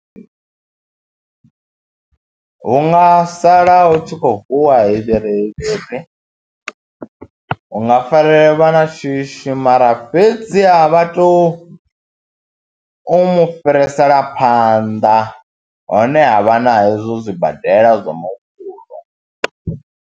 Hu nga sala hu tshi khou vuwa hu nga farea vha shishi mara fhedziha vha tou u mu fhirisela phanḓa honeha vha na hezwo zwibadela zwa muvhuso.